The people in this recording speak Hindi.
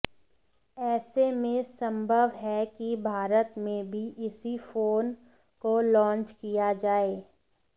ऐसे में संभव है कि भारत में भी इसी फोन को लॉन्च किया जाए